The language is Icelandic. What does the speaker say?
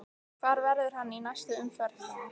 Hvar verður hann í næstu umferð?